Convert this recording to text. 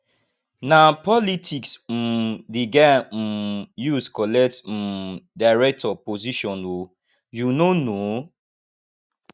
na politics um di guy um use collect um director position o you no know